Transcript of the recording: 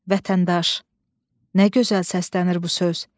Vətəndaş, nə gözəl səslənir bu söz.